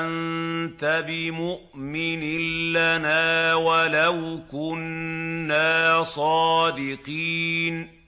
أَنتَ بِمُؤْمِنٍ لَّنَا وَلَوْ كُنَّا صَادِقِينَ